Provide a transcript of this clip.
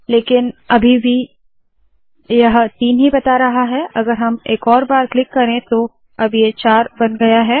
लेकिन ये अभी भी तीन ही बता रहा है अगर हम एक और बार क्लिक करे तो अब ये चार बन गया है